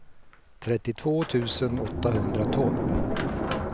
trettiotvå tusen åttahundratolv